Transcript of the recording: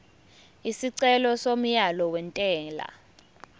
isicelo somyalo wentela